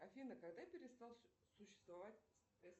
афина когда перестал существовать